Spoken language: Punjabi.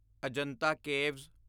ਅਜੰਤਾ ਕੇਵਸ